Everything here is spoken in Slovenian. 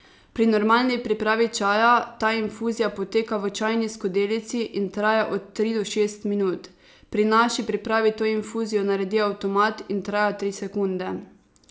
Pri normalni pripravi čaja ta infuzija poteka v čajni skodelici in traja od tri do šest minut, pri naši pripravi to infuzijo naredi avtomat in traja tri sekunde.